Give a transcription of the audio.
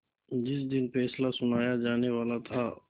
जिस दिन फैसला सुनाया जानेवाला था